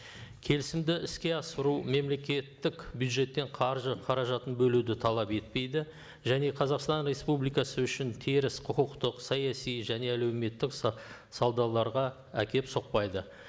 келісімді іске асыру мемлекеттік бюджеттен қаржы қаражатын бөлуді талап етпейді және қазақстан республикасы үшін теріс құқықтық саяси және әлеуметтік әкеліп соқпайды